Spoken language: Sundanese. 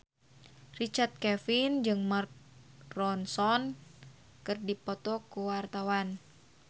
Richard Kevin jeung Mark Ronson keur dipoto ku wartawan